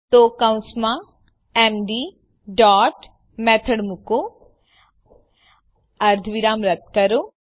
તો કૌંસમાં MD dot method મુકો અર્ધવિરામ રદ્દ કરો